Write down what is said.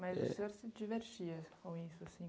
Mas o senhor se divertia com isso?